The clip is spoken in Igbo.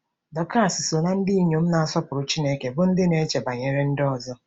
Dọkas so ná ndị inyom na-asọpụrụ Chineke bụ́ ndị na-eche banyere ndị ọzọ.